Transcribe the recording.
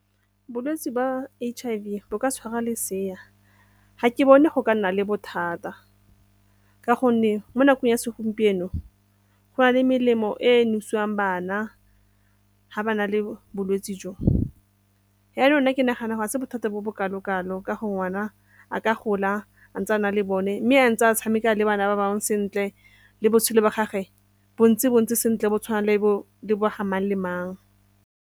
Bolwetse ba H_I_V bo ka tshwara lesea, ga ke bone go ka nna le bothata ka gonne mo nakong ya segompieno go na le melemo e nosiwang bana ga ba na le bolwetse jo. Yaanong ke nagana ga se bothata bo bokae bokalo ka go ngwana a ka gola a ntse a na le bone mme a ntse a tshameka le bana ba bangwe sentle le botshelo ba gage bo ntse bo ntse sentle bo tshwana le bo ga mang le mang.